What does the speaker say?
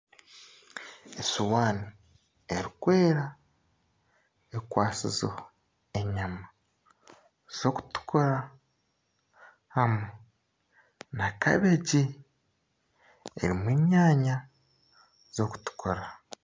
Esiwaani erikwera ekwasizeho enyama z'okutukura hamwe na kabegi erimu enyaanya z'okutukura